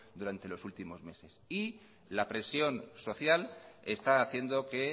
durante los últimos meses la presión social está haciendo que